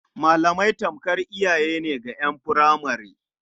Malamai tamkar iyaye ne ga ƴan furemare.